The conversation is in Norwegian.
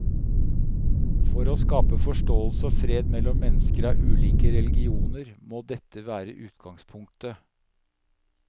For å skape forståelse og fred mellom mennesker av ulike religioner, må dette være utgangspunktet.